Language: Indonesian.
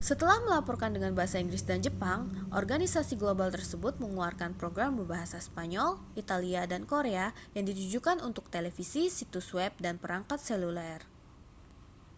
setelah melaporkan dengan bahasa inggris dan jepang organisasi global tersebut mengeluarkan program berbahasa spanyol italia dan korea yang ditujukan untuk televisi situs web dan perangkat seluler